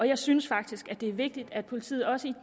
jeg synes faktisk at det er vigtigt at politiet også i